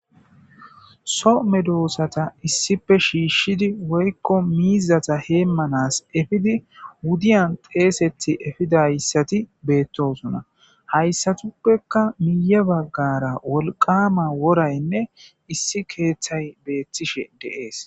so medoosata issife shiishshidi woykko miizata heemmanas efidi wudiyan xeesethi efidayssati beettosuna hayssatuppekka miye baggara wolqama woraynne issi keeththay beettishe deees